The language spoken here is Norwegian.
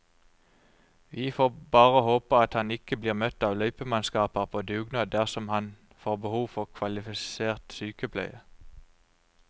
Vi får bare håpe at han ikke blir møtt av løypemannskaper på dugnad dersom han får behov for kvalifisert sykepleie.